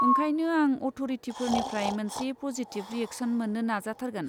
ओंखायनो आं अथ'रिटिफोरनिफ्राय मोनसे पजिटिब रियेकस'न मोन्नो नाजाथारगोन।